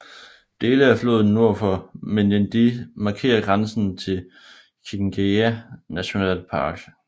Dele af floden nord for Menindee markerer grænsen til Kinchega National Park